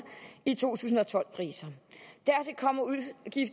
i to tusind og tolv priser